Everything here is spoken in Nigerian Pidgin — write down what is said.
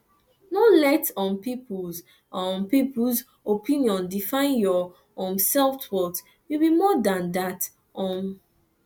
no let um peoples um peoples opinion define your um selfworth you be more dan dat um